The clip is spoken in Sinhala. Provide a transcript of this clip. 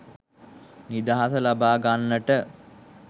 නිදහස ලබා ගන්නට